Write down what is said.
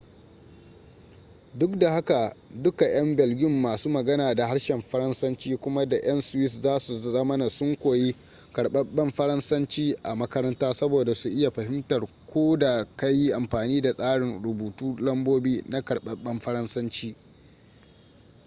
duk da haka duka'yan belgium masu magana da harshen faransanci kuma da 'yan swiss za su zamana sun koyi karbabben faransanci a makaranta saboda su iya fahimtarka ko da ka yi amfani da tsarin rubuta lambobi na karɓaɓɓen faransanci